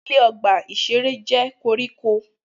Ilẹ̀ ọgbà-ìṣeré jẹ́ koríko